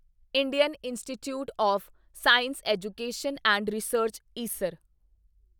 Indian Institute of Science Education and Research Isar